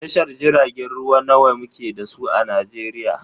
Tashar jiragen ruwa nawa muke da su a Najeriya?